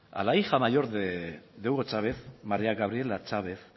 a la hija mayor de hugo chávez maría gabriela chávez